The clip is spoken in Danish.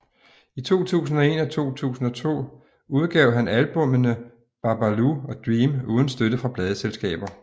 I 2001 og 2002 udgav han albumene BaBalu og Dream uden støtte fra pladeselskaber